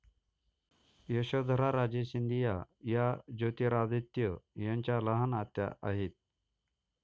यशोधराराजे सिंधिया या ज्योतिरादित्य यांच्या लहान आत्या आहेत.